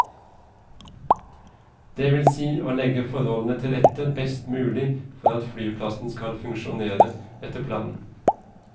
Det vil si å legge forholdene til rette best mulig for at flyplassen skal funksjonere etter planen.